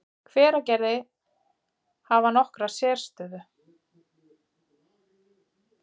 Hveragerði, hafa nokkra sérstöðu.